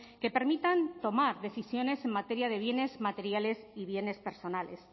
que permitan tomar decisiones en materia de bienes materiales y bienes personales